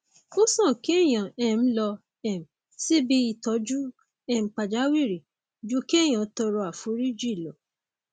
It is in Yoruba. ó sàn kéèyàn um lọ um síbi ìtọjú um pàjáwìrì ju kéèyàn tọrọ àforíjì lọ